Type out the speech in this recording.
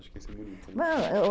Acho que isso é bonito